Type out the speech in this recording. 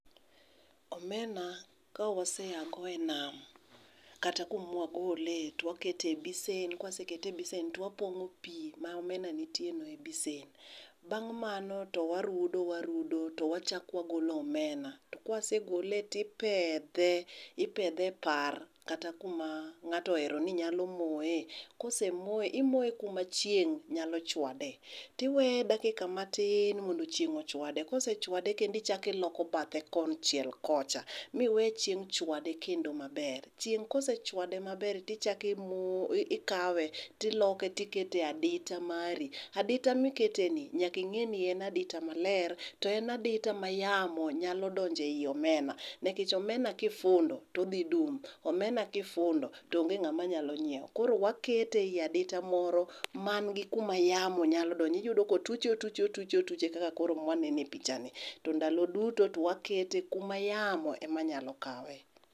Omena ka wase ago e nam, kata kuma wagole to wakete e besen ka wasekete e besen to wapong'o pi ma omena nitiereno e besen . Bang' mano to warudo wariudo to wachako wagolo omena to ka kawase gole to ipedhe ipedhe e par kata kuma ng'ato ohero ni nyalo moye. Kose moyo kosemo moye imoye kuma chieng' nyalochuade to iweye dakika matin mondo chieng' ochuade, kosechuade kendo ichako iloko bathe kocha miwe chieng' chwade kendo maber. Chieng' ka osechuade maber to ichako imoye ikawe to iloke ikete e adita mari. Adita miketeni nyal´ka ing'i ni en adita maler to en adita ma yamo nyalo donjo ei omena nikech omena kifundo to odhi dung'. Omena kifundo to onge ng'ama dhi nyiewo koro wakete ei adita moro man gi kuma yamo nyalo donjoe. Iyudo ka otuche otuche otuche otuche kaka koro ma waneno e pichani. To ndalo duto to wakete kuma yamo ema yamo ema nyalo kawe.